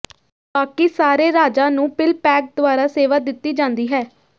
ਬਾਕੀ ਸਾਰੇ ਰਾਜਾਂ ਨੂੰ ਪਿਲਪੈਕ ਦੁਆਰਾ ਸੇਵਾ ਦਿੱਤੀ ਜਾਂਦੀ ਹੈ